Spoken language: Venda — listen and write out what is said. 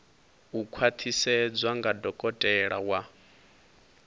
u khwaṱhisedzwa nga dokotela wa